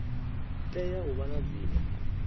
tea u vha na dzina